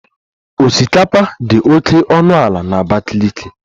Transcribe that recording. Osikapa dị oke ọnụ ala na Abakiliki